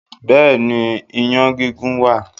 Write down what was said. Bẹ́ẹ̀ ni, iyán gígún wà.